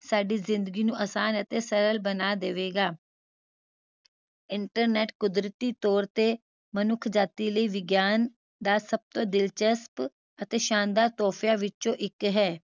ਸਾਡੀ ਜ਼ਿੰਦਗੀ ਨੂੰ ਆਸਾਨ ਅਤੇ ਸਰਲ ਬਣਾ ਦੇਵੇਗਾ internet ਕੁਦਰਤੀ ਤੋਰ ਤੇ ਮਨੁੱਖ ਜਾਤੀ ਲਈ ਵਿਗਿਆਨ ਦਾ ਸਭ ਤੋਂ ਦਿਲਚਸਪ ਅਤੇ ਸ਼ਾਨਦਾਰ ਤੋਹਫ਼ਿਆਂ ਵਿਚੋਂ ਇਕ ਹੈ